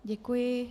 Děkuji.